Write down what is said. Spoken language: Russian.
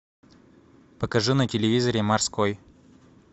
покажи на телевизоре морской